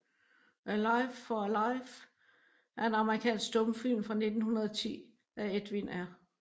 A Life for a Life er en amerikansk stumfilm fra 1910 af Edwin R